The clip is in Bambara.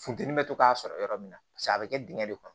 Funteni bɛ to k'a sɔrɔ yɔrɔ min na paseke a bɛ kɛ dingɛ de kɔnɔ